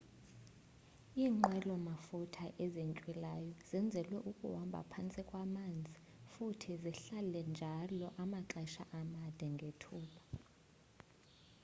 iinqwela mafutha ezintywilayo zenzelwe ukuhambha phantsi kwamanzi futhi zihlale njalo amaxesha amade ngethuba